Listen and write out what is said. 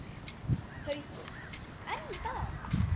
Haukur: En í dag?